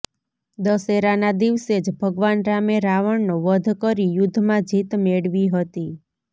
દશેરાના દિવસે જ ભગવાન રામે રાવણનો વધ કરી યુદ્ધમાં જીત મેળવી હતી